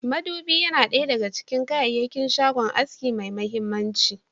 Madubi Yana daya a cikin kayakin shagon aski mai mahimmanci.